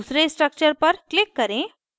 दूसरे structure पर click करें